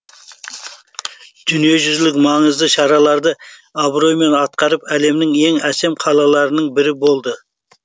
дүниежүзілік маңызды шараларды абыроймен атқарып әлемнің ең әсем қалаларының бірі болды